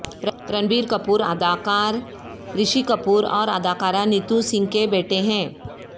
رنبیر کپور اداکار رشی کپور اور اداکارہ نیتو سنگھ کے بیٹے ہیں